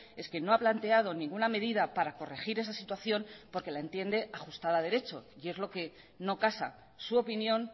es que no ha planteado ninguna medida para corregir esa situación porque la entienda ajustada a derecho y es lo que no casa su opinión